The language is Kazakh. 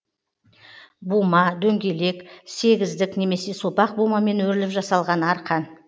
бума дөңгелек сегіздік немесе сопақ бумамен өріліп жасалған арқан